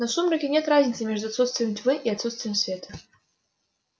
но в сумраке нет разницы между отсутствием тьмы и отсутствием света